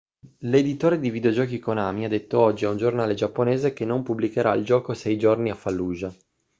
l'editore di videogiochi konami ha detto oggi a un giornale giapponese che non pubblicherà il gioco sei giorni a fallujah